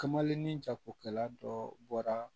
Kamalen ni jagokɛla dɔ bɔra